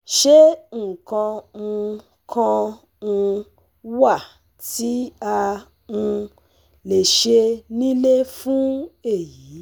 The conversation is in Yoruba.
Ṣé nǹkan um kan um wà tí a um lè ṣe nílé fún èyí